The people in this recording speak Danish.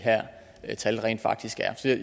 her tal rent faktisk er